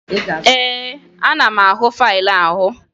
Ee, ana m ahụ faịlụ ahụ